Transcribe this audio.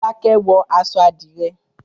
Fọlákẹ́ wọ aṣọ àdìrẹ́.